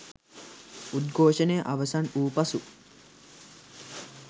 උද්ඝෝෂණය අවසන් වූ පසු